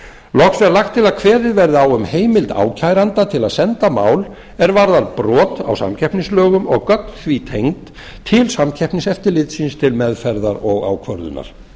loks er lagt til að eða verði á um heimild ákæranda til að senda mál er varðar brot á samkeppnislögum og gögn því tengd til samkeppniseftirlitsins til meðferðar og ákvörðunar